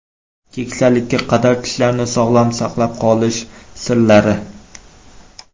Keksalikka qadar tishlarni sog‘lom saqlab qolish sirlari.